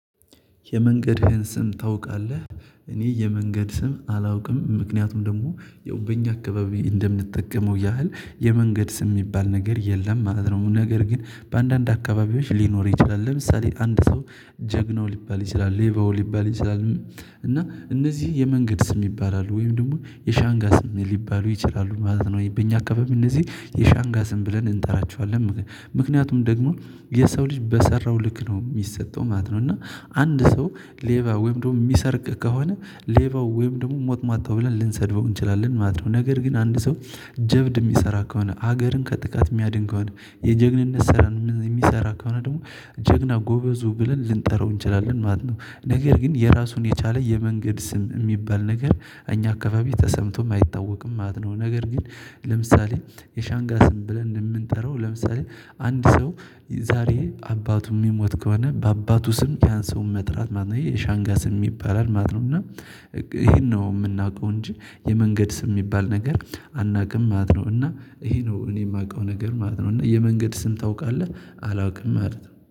የመንገድህን ስም ታውቃለህ? እኔ የመንገድ ስም አላውቅም ምክንያቱም ደግሞ የውበኛ አካባቢ እንደምንጠቀመው ያህል የመንገድ ስም የሚባል ነገር የለም ማለት ነው። ነገር ግን በአንዳንድ አካባቢዎች ሊኖር ይችላል ለምሳሌ አንድ ሰው ጀግናው ሊባል ይችላል ሌባው ሊባል ይችላል። እና እነዚህ የመንገድ ስም ይባላሉ ወይም ደግሞ የሻንጋ ስም ሊባሉ ይችላሉ ማለት ነው። በእኛ አካባቢ እነዚህ የሻንጋ ስም ብለን እንጠራቸዋለን። ምክንያቱም ደግሞ የሰው ልጅ በሰራው ልክ ነው የሚሰጠው ማለት ነው። እና አንድ ሰው ሌባ ወይም ደግሞ የሚሰርቅ ከሆነ ሌባው ወይም ደግሞ ሞት ማጣው ብለን ልንሰድበው እንችላለን። ማድረግ ነገር ግን አንድ ሰው ጀብድ የሚሰራ ከሆነ ሀገርን ከጥቃት የሚያድንገው የጀግንነት ስራ የሚሰራ ከሆነ ደግሞ ጀግና ጎበዙ ብለን ልንጠራው እንችላለን ማለት ነው። ነገር ግን የራሱን የቻለ የመንገድ ስም የሚባል ነገር እኛ አካባቢ ተሰምቶ የማይታወቅም ማለት ነው። ነገር ግን ለምሳሌ የሻንጋ ስም ብለን እንምንጠራው ለምሳሌ አንድ ሰው ዛሬ አባቱ የሚሞት ከሆነ በአባቱ ስም ያን ሰው መጥራት ማለት ነው ይሄ የሻንጋ ስም ይባላል ማለት ነው። እና ይሄን ነው የምናውቀው እንጂ የመንገድ ስም የሚባል ነገር አናቅም ማለት ነው። እና ይሄ ነው እኔ የማውቀው ነገር ማለት ነው። እና የመንገድ ስም ታውቃለህ? አላውቅም ማለት ነው